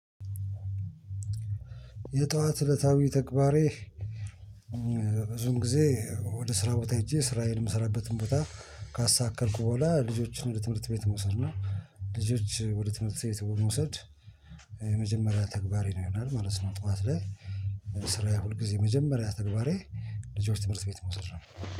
የጧት እለታዊ ተግባሬ ብዙም ጊዜ ወደ ስራ ቦታ ሄጄ ስራዬን ምሰራበትን ቦታ ካስተካከልኩ በኋላ ልጆችን ወደ ትምህርት ቤት መውሰድ ነው። ልጆች ወደ ትምህርት ቤት በ መውሰድ የመጀመሪያ ተግባሬ ነው ይሆናል ማለት ነው። ጠዋት ላይ ስራዬ ሁል ጊዜ መጀመሪያ ተግባሬ ልጆች ትምህርት ቤት መውሰድ ነው